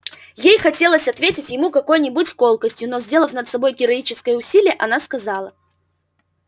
ей хотелось ответить ему какой-нибудь колкостью но сделав над собой героическое усилие она сказала